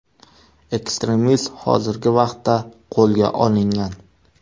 Ekstremist hozirgi vaqtda qo‘lga olingan.